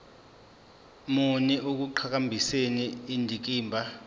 muni ekuqhakambiseni indikimba